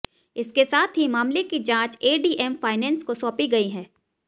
इसके साथ ही मामले की जांच एडीएम फाइनेंस को सौंपी गई है